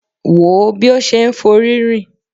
Wò ó bí ó ṣe ń forí rìn.